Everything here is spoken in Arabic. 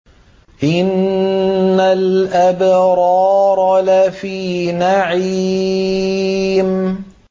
إِنَّ الْأَبْرَارَ لَفِي نَعِيمٍ